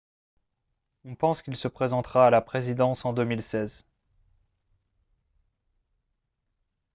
on pense qu'il se présentera à la présidence en 2016